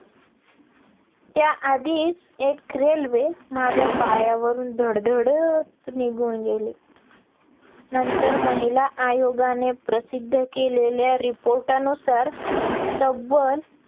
त्याआधीच एक railway माझ्या पायावरून धडधडत निघून गेली नंतर महिला आयोगाने प्रसिद्ध केलेल्या report अनुसार, तब्बल